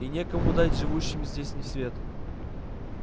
и некому дать живущим здесь свет